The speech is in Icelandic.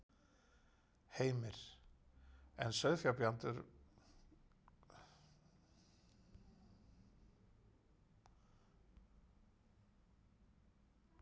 Heimir: En sauðfjárbændur kvarta samt?